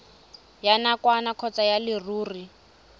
ya nakwana kgotsa ya leruri